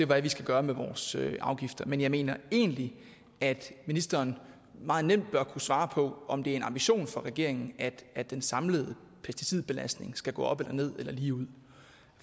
hvad vi skal gøre med vores afgifter men jeg mener egentlig at ministeren meget nemt bør kunne svare på om det er en ambition for regeringen at den samlede pesticidbelastning skal gå op eller ned eller ligeud